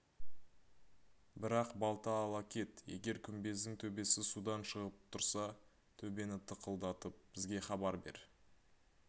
бірақ балта ала кет егер күмбездің төбесі судан шығып тұрса төбені тықылдатып бізге хабар бер